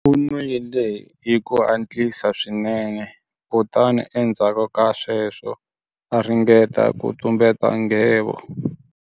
U nwile hi ku hatlisa swinene kutani endzhaku ka sweswo a ringeta ku tumbeta nghevo.